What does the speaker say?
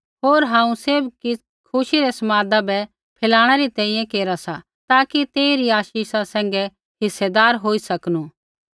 होर हांऊँ सैभ किछ़ खुशी रै समादा बै फैलाणै री तैंईंयैं केरा सा ताकि तेइरी आशीषा सैंघै हिस्सेदार होई सकनू